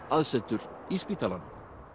aðsetur í spítalanum